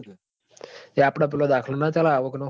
આપડ પેલો આવક નો દાખલો ના ચાલ આવક નો